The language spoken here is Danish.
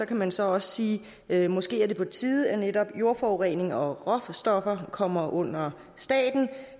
kan man så også sige at måske er det på tide at netop jordforurening og råstoffer kommer under staten